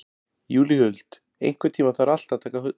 Júlíhuld, einhvern tímann þarf allt að taka enda.